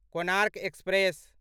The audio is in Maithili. कोणार्क एक्सप्रेस